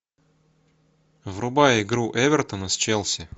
врубай игру эвертона с челси